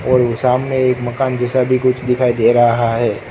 और ओ सामने एक मकान जैसा भी कुछ दिखाई दे रहा है।